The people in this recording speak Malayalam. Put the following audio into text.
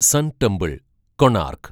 sun temple, Konark